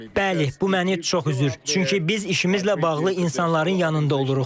Bəli, bu məni çox üzür, çünki biz işimizlə bağlı insanların yanında oluruq.